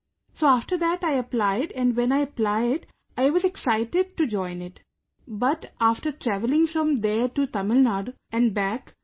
So after that I applied and when I applied, I was excited to join it, but after traveling from there to Tamil Nadu, and back ...